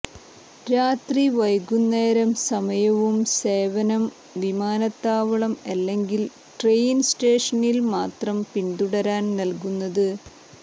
രാത്രി വൈകുന്നേരം സമയവും സേവനം വിമാനത്താവളം അല്ലെങ്കിൽ ട്രെയിൻ സ്റ്റേഷനിൽ മാത്രം പിന്തുടരാൻ നൽകുന്നത്